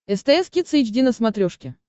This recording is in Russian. стс кидс эйч ди на смотрешке